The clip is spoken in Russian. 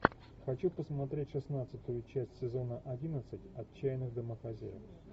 хочу посмотреть шестнадцатую часть сезона одиннадцать отчаянных домохозяек